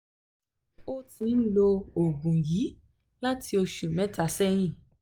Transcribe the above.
ó ti ń lo oògùn yìí láti oṣù mẹ́ta sẹ́yìn